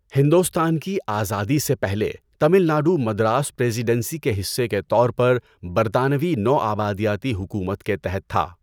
ہندوستان کی آزادی سے پہلے، تمل ناڈو مدراس پریزیڈنسی کے حصے کے طور پر برطانوی نوآبادیاتی حکومت کے تحت تھا۔